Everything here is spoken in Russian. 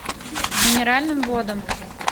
минеральным водам